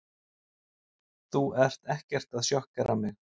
Þú ert ekkert að sjokkera mig.